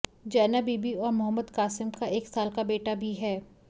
जैनब बीबी और मोहम्मद कासिम का एक साल का बेटा भी है